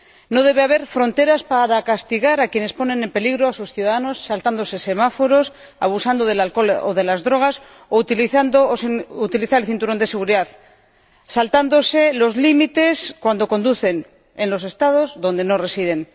No debe haber fronteras para castigar a quienes ponen en peligro a sus ciudadanos, saltándose semáforos, abusando del alcohol o de las drogas, no utilizando el cinturón de seguridad o saltándose los límites cuando conducen en los Estados donde no residen.